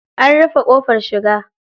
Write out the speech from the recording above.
An rufe ƙofar shiga.